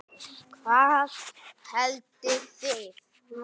Hvað haldið þið!